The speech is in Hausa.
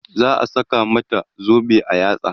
zai saka mata zobe a yatsa